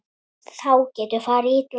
Þá getur farið illa.